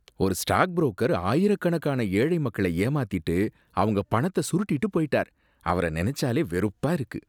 ஒரு stock broker ஆயிரக்கணக்கான ஏழை மக்கள ஏமாத்திட்டு அவங்க பணத்த சுருட்டிட்டு போயிட்டார், அவர நினைச்சாலே வெறுப்பா இருக்கு.